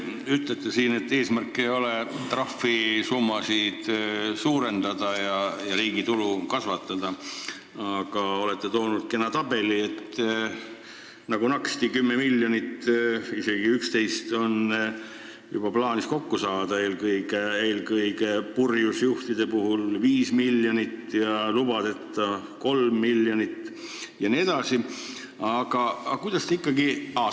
Ütlete siin, et eesmärk ei ole trahvisummasid suurendada ja riigi tulu kasvatada, aga olete toonud siin kena tabeli, et nagu naksti on 10 miljonit, isegi juba 11, plaanis kokku saada, purjus juhtide käest 5 miljonit, lubadeta juhtide käest 3 miljonit jne.